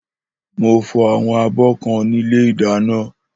Mó fọ àwọn àbọ kan nìlé ìdàná.